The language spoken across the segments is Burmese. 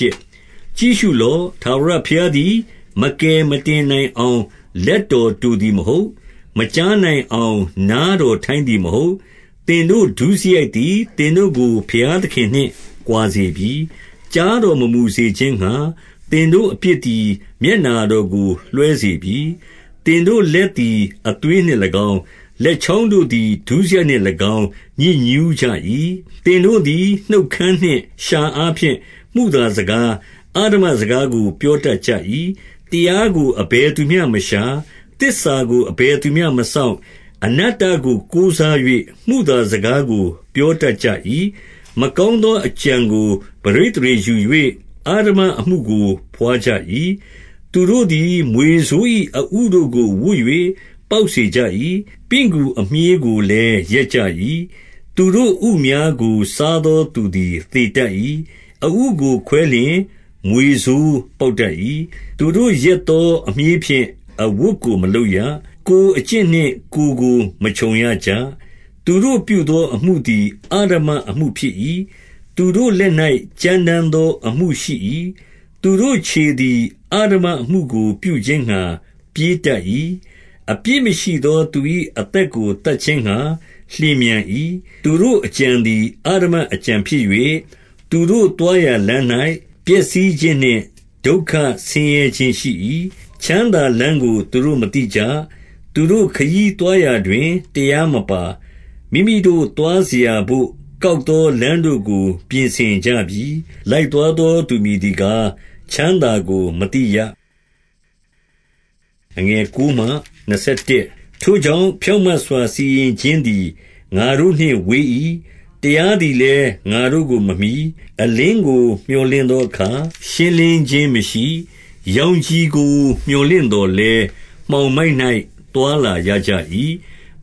ြည့်ရှုလော့။ ထာဝရဘုရားသည်မကယ်မတင် နိုင်အောင် လက်တော်တိုသည်မဟုတ်။ မကြားနိုင်အောင် နားတော်ထိုင်းသည်မဟုတ်။ 2 သင်တို့ ဒုစရိုက်သည် သင်တို့ကို ဘုရားသခင်နှင့် ကွာစေပြီ။ ကြားတော်မမူစေခြင်းငှါ၊ သင်တို့အပြစ်သည် မျက်နှာတော်ကို လွှဲစေပြီ။ 3 သင်တို့လက်သည် အသွေးနှင့်၎င်း၊ လက်ချောင်း တို့သည် ဒုစရိုက်နှင့်၎င်း ညစ်ညူးကြ၏။ သင်တို့သည် နှုတ်ခမ်းနှင့် လျှာအားဖြင့် မုသာစကား၊ အဓမ္မစကားကို ပြောတတ်ကြ၏။ 4 တရားကို အဘယ်သူမျှမရှာ၊ သစ္စာကို အဘယ် သူမျှမစောင့်၊ အနတ္တကို ကိုးစား၍ မုသာစကားကို ပြော တတ်ကြ၏။ မကောင်းသောအကြံကို ပဋိသန္ဓေယူ၍၊ အဓမ္မအမှုကို ဘွားကြ၏။ 5 သူတို့သည် မြွေဆိုး၏ အဥတို့ကို ဝပ်၍ ပေါက် စေကြ၏။ ပင့်ကူအမြှေးကိုလည်း ရက်ကြ၏။ သူတို့ ဥများ ကို စားသော သူသည် သေတတ်၏။ အဥကို ခွဲလျှင် မြွေဆိုးပေါက်တတ်၏။ 6 သူတို့ရက်သော အမြှေးဖြင့် အဝတ်ကို မလုပ်ရ။ ကိုယ်အကျင့်နှင့် ကိုယ်ကိုမခြုံရကြ။ သူတို့ပြုသော အမှု သည် အဓမ္မအမှုဖြစ်၏။ သူတို့လက်၌ ကြမ်းတမ်းသော အမှုရှိ၏။ 7 သူတို့ခြေသည် အဓမ္မအမှုကို ပြုခြင်းငှါ ပြေး တတ်၏။ အပြစ်မရှိသော သူ၏အသက်ကို သတ်ခြင်းငှါ လျင်မြန်၏။ သူတို့အကြံသည် အဓမ္မအကြံဖြစ်၍၊ သူတို့ သွားရာလမ်း၌ ပျက်စီးခြင်းနှင့် ဒုက္ခဆင်းရဲခြင်း ရှိ၏။ 8 ချမ်းသာလမ်းကို သူတို့မသိကြ။ သူတို့ခရီးသွား ရာတွင် တရားမပါ။ မိမိတို့သွားစရာဘို့ ကောက်သော လမ်းတို့ကို ပြင်ဆင်ကြပြီ။ လိုက်သွားသော သူမည်သည် ကား၊ ချမ်းသာကို မသိရ။ 9 ထို့ကြောင့်၊ ဖြောင့်မတ်စွာ စီရင်ခြင်းသည် ငါ တို့နှင့်ဝေး၏။ တရားသည်လည်း ငါတို့ကိုမမှီ။ အလင်းကို မြော်လင့်သောအခါ ရှင်းလင်းခြင်းမရှိ။ ရောင်ခြည်ကို မြော်လင့်သော်လည်း၊ မှောင်မိုက်၌ သွားလာရကြ၏။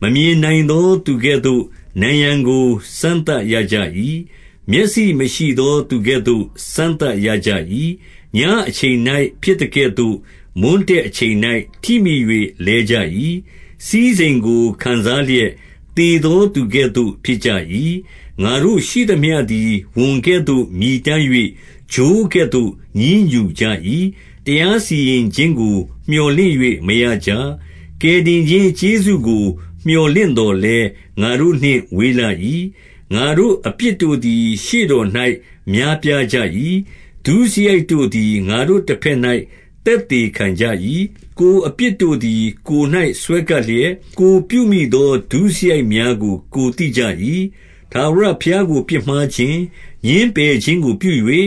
10 မမြင်နိုင်သော သူကဲ့သို့ နံရံကို စမ်းသပ်ရကြ၏။ မျက်စိမရှိသော သူကဲ့သို့ စမ်းသပ်ရကြ၏။ ညအချိန်၌ ဖြစ်သကဲ့သို့ မွန်းတည့်အချိန်၌ ထိမိ၍ လဲကြ၏။ စည်းစိမ် ကို ခံစားလျက်၊ သေသောသူကဲ့သို့ ဖြစ်ကြ၏။ 11 ငါတို့ရှိသမျှသည် ဝံကဲ့သို့မြည်တမ်း၍၊ ချိုးကဲ့သို့ ညည်းညူကြ၏။ တရားစီရင်ခြင်းကို မြော်လင့်၍ မရကြ။ ကယ်တင်ခြင်းကျေးဇူးကို မြော်လင့်သော်လည်း၊ ငါတို့နှင့် ဝေးလှ၏။ 12 ငါတို့အပြစ်တို့သည် ရှေ့တော်၌ များပြားကြ၏။ ဒုစရိုက်တို့သည် ငါတို့တဘက်၌ သက်သေခံကြ၏။ ကိုယ် အပြစ်တို့သည် ကိုယ်၌ စွဲကပ်လျက်၊ ကိုယ်ပြုမိသော ဒုစရိုက်များကို ကိုယ်သိကြ၏။ 13 ထာဝရဘုရားကို ပြစ်မှားခြင်း၊ ငြင်းပယ်ခြင်းကို ပြု၍၊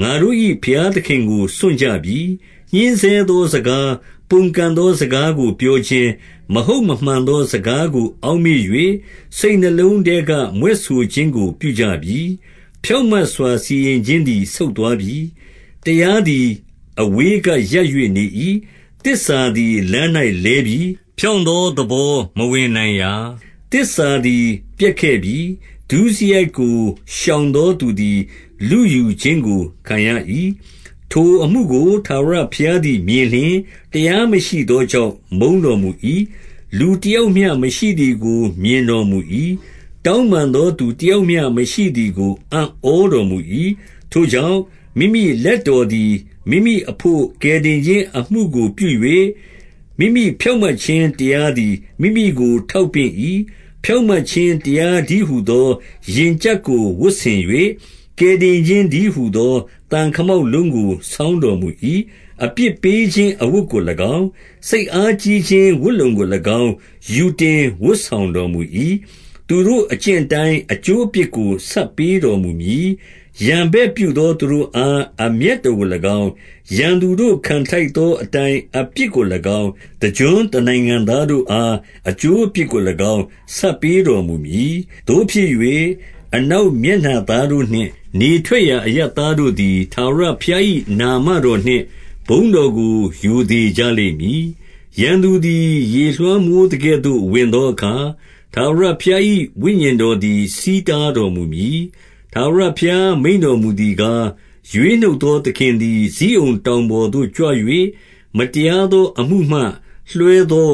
ငါတို့၏ဘုရားသခင်ကို စွန့်ကြပြီ။ ညှဉ်းဆဲသော စကား၊ ပုန်ကန်သော စကားကို ပြောခြင်း၊ မဟုတ်မမှန် သောစကားကို အောက်မေ့၍၊ စိတ်နှလုံးထဲက မြွက်ဆို ခြင်းကို ပြုကြပြီ။ 14 ဖြောင့်မတ်စွာ စီရင်ခြင်းသည် ဆုတ်သွားပြီ။ တရားသည် အဝေးကရပ်၍ နေ၏။ သစ္စာသည် လမ်း၌ လဲပြီ။ ဖြောင့်သောသဘော မဝင်နိုင်ရာ။ 15 သစ္စာသည် ပျက်ခဲ့ပြီ။ ဒုစရိုက်ကို ရှောင်သောသူ သည် လုယူခြင်းကို ခံရ၏။ ထိုအမှုကို ထာဝရဘုရားသည် မြင်လျှင်၊ တရားမရှိသောကြောင့် မုန်းတော်မူ၏။ 16 လူတယောက်မျှမရှိသည်ကို မြင်တော်မူ၏။ တောင်းပန်သောသူတယောက်မျှမရှိသည်ကို အံ့ဩတော် မူ၏။ ထိုကြောင့်၊ မိမိလက်တော်သည် မိမိအဘို့ ကယ်တင်ခြင်းအမှုကိုပြု၍၊ မိမိဖြောင့်မတ်ခြင်းတရားသည် မိမိကို ထောက်ပင့်၏။ 17 ဖြောင့်မတ်ခြင်းတရားတည်းဟူသော ရင်ကျပ် ကို ဝတ်ဆင်၍၊ ကယ်တင်ခြင်းတည်းဟူသော သံခမောက် လုံးကို ဆောင်းတော်မူ၏။ အပြစ်ပေးခြင်းအဝတ်ကို၎င်း၊ စိတ်အားကြီးခြင်းဝတ်လုံကို၎င်း ယူတင်ဝတ်ဆောင်တော် မူ၏။ 18 သူတို့အကျင့်အတိုင်း အကျိုးအပြစ်ကို ဆပ်ပေး တော်မူမည်။ ရန်ဘက်ပြုသော သူတို့အား အမျက်တော် ကို၎င်း၊ ရန်သူတို့ ခံထိုက်သည်အတိုင်း အပြစ်ကို၎င်း၊ တကျွန်းတနိုင်ငံသားတို့အား အကျိုးအပြစ်ကို၎င်း ဆပ်ပေးတော်မူမည်။ 19 သို့ဖြစ်၍၊ အနောက်မျက်နှာသားတို့နှင့်၊ နေထွက် ရာအရပ်သားတို့သည် ထာဝရဘုရား၏ နာမတော်နှင့် ဘုန်းတော်ကို ရိုသေကြလိမ့်မည်။ ရန်သူသည် ရေလွှမ်းမိုး သကဲ့သို့ ဝင်သောအခါ၊ ထာဝရဘုရား၏ ဝိညာဉ်တော် သည် ဆီးတားတော်မူမည်။ 20 ထာဝရဘုရား မိန့်တော်မူသည်ကား၊ ရွေးနှုတ် သောသခင်သည် ဇိအုန်တောင်ပေါ်သို့ ကြွ၍၊ မတရား သော အမှုမှလွှဲသော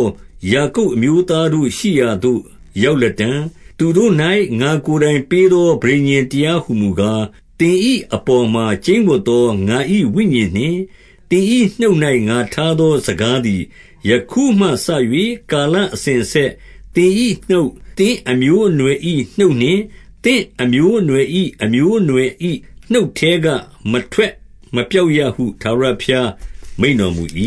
ယာကုပ်အမျိုးသားတို့ ရှိရာသို့ ရောက်လတံ့။ 21 သူတို့၌ ငါကိုယ်တိုင်ပေးသော ပဋိညာဉ်တရား ဟူမူကား၊ သင်၏အပေါ်မှာ ကျိန်းဝပ်သော ငါ၏ဝိညာဉ် နှင့် သင်၏နှုတ်၌ ငါထားသော စကားသည်၊ ယခုမှစ၍ ကာလအစဉ်အဆက် သင်၏နှုတ်၊ သင့်အမျိုးအနွယ်၏ နှုတ်နှင့်၊ သင့်အမျိုးအနွယ်၏ အမျိုးအနွယ်၏နှုတ်ထဲက မထွက်မပျောက်ရဟု ထာဝရဘုရား မိန့်တော်မူ၏။